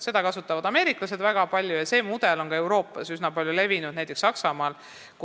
Seda mudelit kasutavad väga palju ameeriklased ja see on ka Euroopas üsna levinud, näiteks Saksamaal.